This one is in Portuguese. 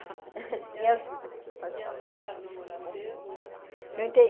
E elas e elas começaram a namorar cedo? Não